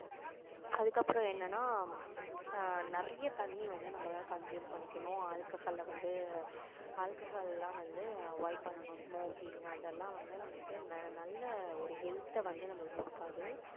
அதுக்கப்புறம் என்னன்னா ஆஹ் நிறைய தண்ணி வந்து நம்ம consume பண்ணிக்கணும் alcohol வந்து alcohol லாம் வந்து avoid பண்ணணும் smoking அதெல்லாம் வந்து நம்மளுக்கு ந~ நல்ல ஒரு health அ வந்து நமக்கு கொடுக்காது